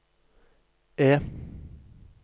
E